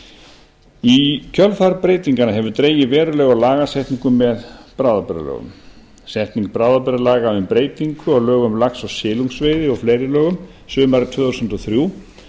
í kjölfar breytinganna hefur dregið verulega úr lagasetningu með bráðabirgðalögum setning bráðabirgðalaga um breytingu á lögum um lax og silungsveiði og fleiri lögum sumarið tvö þúsund og þrjú